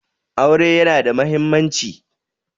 Aure yana da mahimmanci.